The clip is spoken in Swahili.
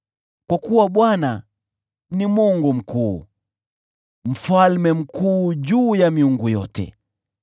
Kwa kuwa Bwana ni Mungu mkuu, mfalme mkuu juu ya miungu yote.